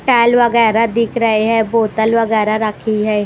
टाल वगैरह दिख रहे हैं बोतल वगैरह रखी है।